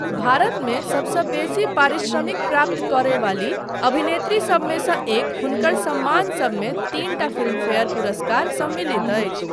भारतमे सबसँ बेसी पारिश्रमिक प्राप्त करय वाली अभिनेत्री सबमे सँ एक हुनकर सम्मानसबमे तीनटा फिल्मफेयर पुरस्कार सम्मिलत अछि।